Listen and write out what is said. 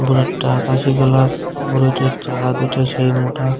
অনেকটা আকাশি কালার বুলেটের চাকা দুইটা সেই মোটা।